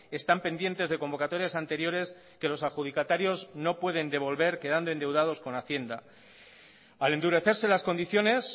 están pendientes de convocatorias anteriores que los adjudicatarios no pueden devolver quedando endeudados con hacienda al endurecerse las condiciones